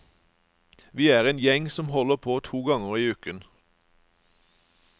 Vi er en gjeng som holder på to ganger i uken.